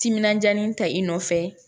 Timinandiya ni ta i nɔfɛ